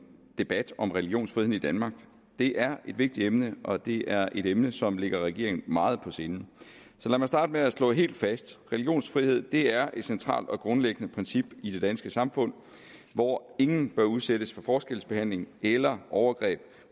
debat om religionsfriheden i danmark det er et vigtigt emne og det er et emne som ligger regeringen meget på sinde så lad mig starte med at slå helt fast religionsfrihed er et centralt og grundlæggende princip i det danske samfund hvor ingen bør udsættes for forskelsbehandling eller overgreb